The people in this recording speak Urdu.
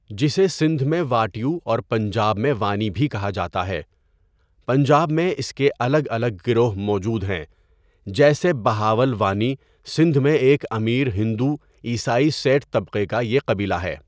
جسے سندھ میں واڻيو اور پنجاب میں وانی بھی کہا جاتا ہے پنجاب میں اس کے الگ الگ گروہ موجود ہیں جیسے بہاول وانی سندھ میں ایک امیر ہندؤ، عیسائی سیٹ تبقے کا يہ قبیلہ ہے.